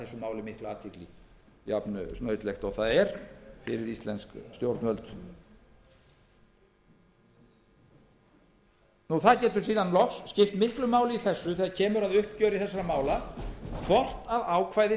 máli mikla athygli jafnsnautlegt og það er fyrir íslensk stjórnvöld loks getur það skipt miklu þegar kemur að uppgjöri þessara mála hvort ákvæði